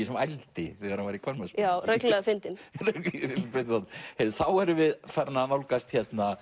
sem ældi þegar hann var í kvenmannsbúningi já reglulega fyndinn þá erum við farin að nálgast